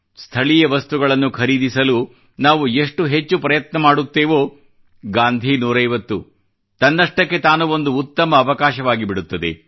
ಸ್ಥಳೀಯ ವಸ್ತುಗಳನ್ನು ಖರೀದಿಸಲು ನಾವು ಎಷ್ಟು ಹೆಚ್ಚು ಪ್ರಯತ್ನ ಮಾಡುತ್ತೇವೋ ಗಾಂಧಿ 150 ತನ್ನಷ್ಟಕ್ಕೆ ತಾನು ಒಂದು ಉತ್ತಮ ಅವಕಾಶವಾಗಿಬಿಡುತ್ತದೆ